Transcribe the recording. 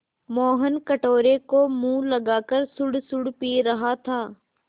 मोहन कटोरे को मुँह लगाकर सुड़सुड़ पी रहा था